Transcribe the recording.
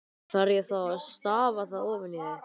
Þarf ég þá að stafa það ofan í þig?